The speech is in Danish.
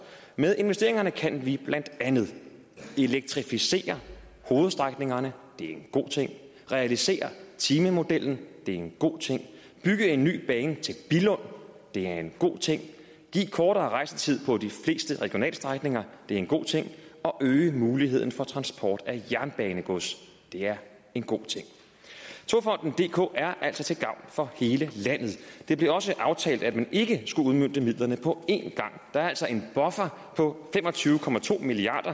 med investeringerne kan vi blandt andet elektrificere hovedstrækningerne det er en god ting realisere timemodellen det er en god ting bygge en ny bane til billund det er en god ting give kortere rejsetid på de fleste regionalstrækninger det er en god ting og øge muligheden for transport af jernbanegods det er en god ting togfonden dk er altså til gavn for hele landet det blev også aftalt at man ikke skulle udmønte midlerne på en gang der er altså en buffer på fem og tyve milliard